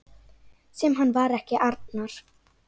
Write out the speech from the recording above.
Sem hann var ekki, Arnar.